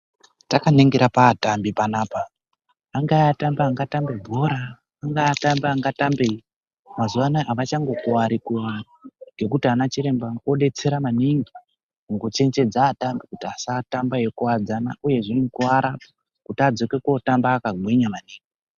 Takaningira paatambi panapa, angave matambi anotamba bhora ,anagave atambi angatambeyi, mazuvaanaya havachangokuvari kuvari ngekuti anachiremba odetsera maningi mukuchenjedza atambi kuti asatambe eyikuvadzana uyezve akakuvara adzoke akagwinya maningi.